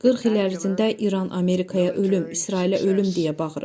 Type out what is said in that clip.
40 il ərzində İran Amerikaya ölüm, İsrailə ölüm deyə bağırıb.